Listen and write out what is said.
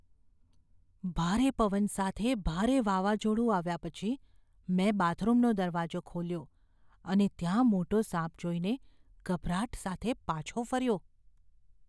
ભારે પવન સાથે ભારે વાવાઝોડું આવ્યા પછી, મેં બાથરૂમનો દરવાજો ખોલ્યો અને ત્યાં મોટો સાપ જોઈને ગભરાટ સાથે પાછો ફર્યો.